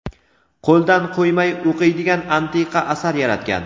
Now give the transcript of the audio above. qo‘ldan qo‘ymay o‘qiydigan antiqa asar yaratgan.